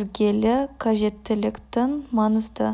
іргелі қажеттіліктің маңызды